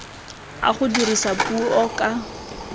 a go dirisa puo ka